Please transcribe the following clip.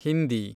Hindi